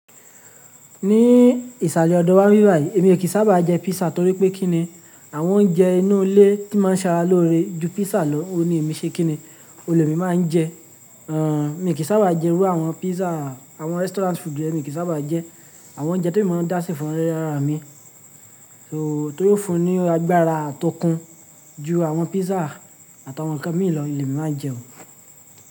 Ní ìsàlẹ̀ ọdọ̀ wá níbí bayí, èmi ò kín sábà jẹ pizza torí pé kí ni, àwọn oúnjẹ inú ilé tí o máa ń ṣe ara lóore ju pizza lọ, òun ní èmi ṣe kíni, òun ni èmi máa ń jẹ. Mí kì sábà jẹ irú àwọn pizza, àwọn restaurant food yẹn, mí kì sábà jẹ. Àwọn oúnjẹ tí èmi máa ń dá ṣe fún ara mi, tí yíò fúnní ni agbára tó okún ju àwọn pizza àti àwọn ǹkan míì lọ, òun ni èmi máa ń jẹ o.